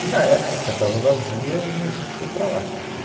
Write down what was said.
E, na época, estava vazia e a gente foi para lá, né